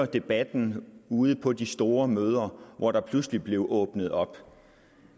debatten ude på de store møder hvor der pludselig blev åbnet op